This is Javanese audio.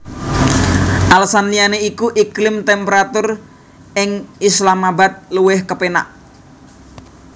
Alesan liyané iku iklim temperatur ing Islamabad luwih kepénak